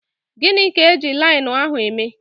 Gịnị ka eji linenu ahụ eme?